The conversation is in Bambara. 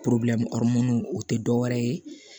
o tɛ dɔwɛrɛ ye